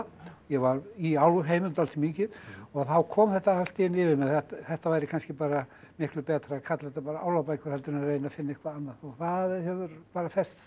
ég var í Álfheimum dálítið mikið og þá kom þetta allt í einu yfir mig að þetta væri kannski miklu betra að kalla þetta Álfabækur heldur en að reyna að finna eitthvað annað það hefur festst